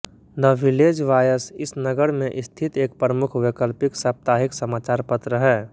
the Village Voice इस नगर में स्थित एक प्रमुख वैकल्पिक साप्ताहिक समाचारपत्र है